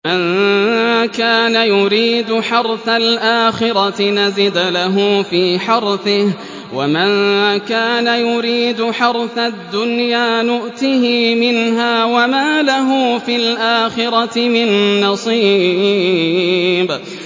مَن كَانَ يُرِيدُ حَرْثَ الْآخِرَةِ نَزِدْ لَهُ فِي حَرْثِهِ ۖ وَمَن كَانَ يُرِيدُ حَرْثَ الدُّنْيَا نُؤْتِهِ مِنْهَا وَمَا لَهُ فِي الْآخِرَةِ مِن نَّصِيبٍ